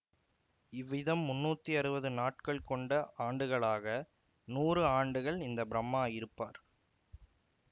இவ்விதம் முன்னூத்தி அறுவது நாட்கள் கொண்ட ஆண்டுகளாக நூறு ஆண்டுகள் இந்த பிரம்மா இருப்பார்